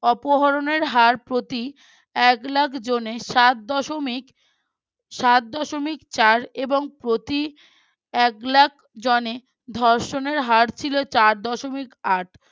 অপহরণের হার প্রতি এক লাখ জনে সাথ দশমিক সাথ দশমিক চার এবং প্রতি এক লাখ জোনে ধর্ষণের হাড় ছিল চার দশমিক আট